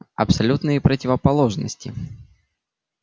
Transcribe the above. абсолютные противоположности